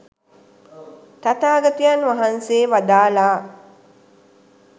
තථාගතයන් වහන්සේ වදාළා.